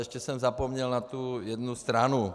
Ještě jsem zapomněl na tu jednu stranu.